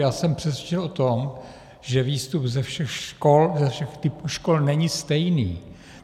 Já jsem přesvědčen o tom, že výstup ze všech škol, ze všech typů škol, není stejný.